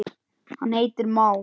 hann heitir már.